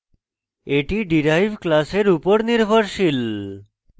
এটি derived class উপর নির্ভরশীল